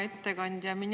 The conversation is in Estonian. Hea ettekandja!